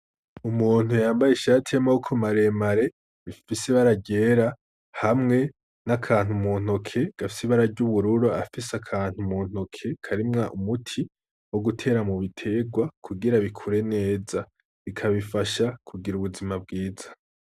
Umuntu yambaye ishati y' amaboko mare mare ifise ibara ryera hamwe n'akantu muntoke gafise ibara ry'ubururu, afise akantu muntoke karimwo umuti wogutera mubitegwa kugira bikure neza bikabifasha kugira ubuzima bwiza.